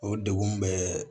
O degun bɛɛ